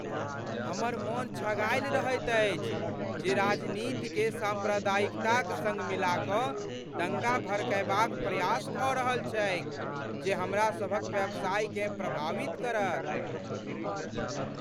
हमर मन छगायल रहैत अछि जे राजनीतिकेँ साम्प्रदायिकताक सङ्ग मिला कऽ दङ्गा भड़कयबाक प्रयास भऽ रहल छैक जे हमरा सभक व्यवसायकेँ प्रभावित करत।